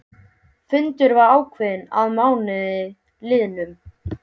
Fundur var ákveðinn að mánuði liðnum.